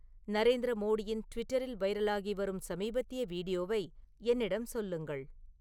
நரேந்திர மோடியின் ட்விட்டரில் வைரலாகி வரும் சமீபத்திய வீடியோவை என்னிடம் சொல்லுங்கள்